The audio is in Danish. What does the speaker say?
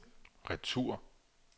retur